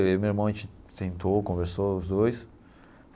Eu e meu irmão, a gente sentou, conversou os dois.